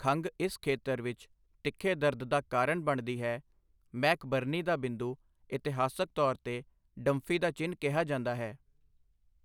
ਖੰਘ ਇਸ ਖੇਤਰ ਵਿੱਚ ਤਿੱਖੇ ਦਰਦ ਦਾ ਕਾਰਨ ਬਣਦੀ ਹੈ, ਮੈਕਬਰਨੀ ਦਾ ਬਿੰਦੂ, ਇਤਿਹਾਸਕ ਤੌਰ 'ਤੇ ਡੰਫੀ ਦਾ ਚਿੰਨ੍ਹ ਕਿਹਾ ਜਾਂਦਾ ਹੈ।